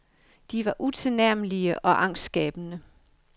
De var utilnærmelige og angstskabende.